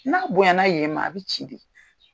N'a bonyana yen ma a bɛ ci de.